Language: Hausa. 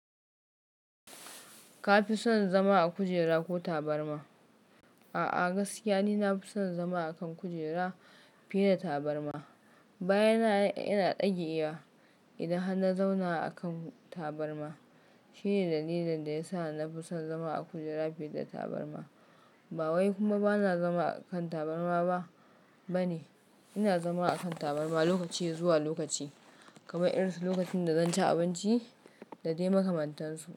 Ka fi son zama a kujera ko tabarma? A'a, gaskiya ni na fi son zama a kan kujera fiye da tabarma. Bayana yana ɗage wa idan han na zauna a kan tabarma. Shine dalilin da ya sa na fi son zama a kujera fiye da tabarma. Bawai kuma bana zama a kan tabarma ba bane. Ina zama a kan tabarma lokaci zuwa lokaci, kamar irin su lokacin da zan ci abinci da dai makamantansu.